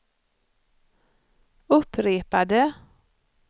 upprepade